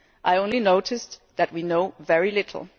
I only noticed that we knew very little.